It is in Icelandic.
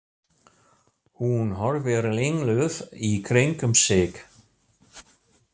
Hún horfir ringluð í kringum sig.